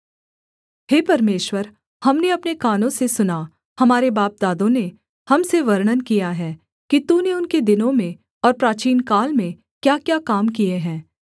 हे परमेश्वर हमने अपने कानों से सुना हमारे बापदादों ने हम से वर्णन किया है कि तूने उनके दिनों में और प्राचीनकाल में क्याक्या काम किए हैं